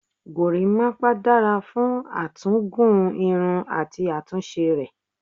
Gorímápá dára fún à tún gùn irun àti àtúnṣe rẹ̀.